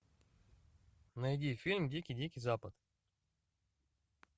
найди фильм дикий дикий запад